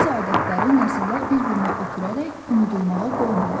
Bəzi adətləri nəsillər bir-birinə ötürərək unudulmağa qoymurlar.